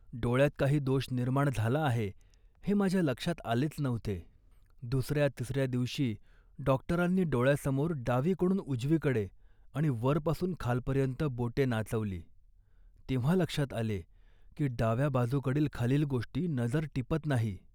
डोळ्यात काही दोष निर्माण झाला आहे, हे माझ्या लक्षात आलेच नव्हते. दुसऱ्या तिसऱ्या दिवशी डॉक्टरांनी डोळ्यासमोर डावीकडून उजवीकडे आणि वरपासून खालपर्यंत बोटे नाचवली तेव्हा लक्षात आले, की डाव्या बाजूकडील खालील गोष्टी नजर टिपत नाही